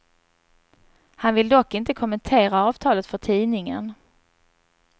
Han vill dock inte kommentera avtalet för tidningen.